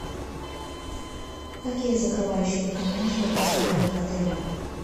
какие закрывающие документы предоставляют в отеле